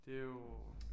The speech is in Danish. Det er jo